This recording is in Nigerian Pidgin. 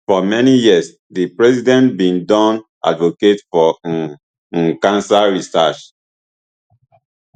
for many years di president bin don advocate for um um cancer research